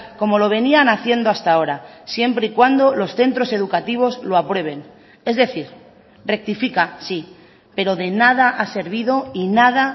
como lo venían haciendo hasta ahora siempre y cuando los centros educativos lo aprueben es decir rectifica sí pero de nada ha servido y nada